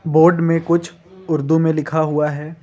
Board में कुछ उर्दू में लिखा हुआ है।